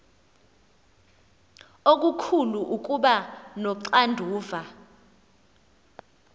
okukhulu ukuba noxanduva